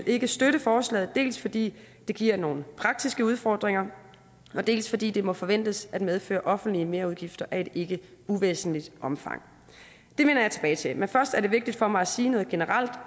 ikke støtte forslaget dels fordi det giver nogle praktiske udfordringer dels fordi det må forventes at medføre offentlige merudgifter af et ikke uvæsentligt omfang det vender jeg tilbage til men først er det vigtigt for mig at sige noget generelt